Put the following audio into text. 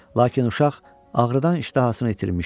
Lakin uşaq ağrıdan iştahasını itirmişdi.